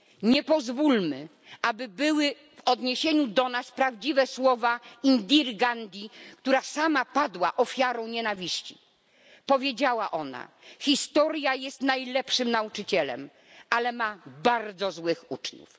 Nie pozwólmy, aby były w odniesieniu do nas prawdziwe słowa Indiry Gandhi, która sama padła ofiarą nienawiści. Powiedziała ona Historia jest najlepszym nauczycielem, ale ma bardzo złych uczniów..